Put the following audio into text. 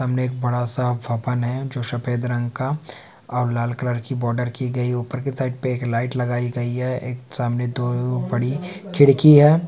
सामने एक बड़ा-सा भवन है जो सफेद रंग का और लाल कलर की बॉडर की गयी ऊपर के साइड पे एक लाइट लगाई है एक सामने दो बड़ी खिड़की है।